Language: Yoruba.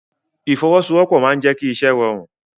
Ìfọwọ́sowọ́pọ̀ máa n jẹ kí iṣẹ rọrun.